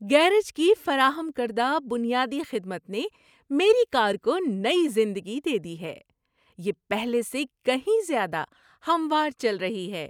Garage کی فراہم کردہ بنیادی خدمت نے میری کار کو نئی زندگی دے دی ہے، یہ پہلے سے کہیں زیادہ ہموار چل رہی ہے!